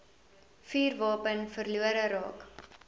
vuurwapen verlore raak